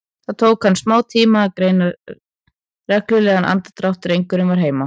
Það tók hann smátíma að greina reglulegan andardrátt, drengurinn var heima.